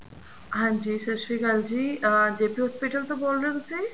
ਹਾਂਜੀ ਸਤਿ ਸ਼੍ਰੀ ਅਕਾਲ ਜੀ ਅਹ JP hospital ਤੋ ਬੋਲ ਰਹੇ ਹੋ ਤੁਸੀਂ